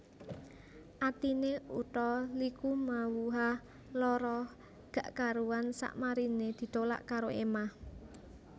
Atine Utha Likumahuwa lara gak karuan sakmarine ditolak karo Ema